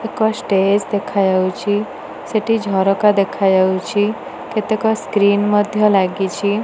ଏକ ଷ୍ଟେଜ ଦେଖାଯାଉଛି ସେଠି ଝରକା ଦେଖାଯାଉଚି ସ୍କ୍ରିନ ମଧ୍ୟ ଲାଗିଚି ।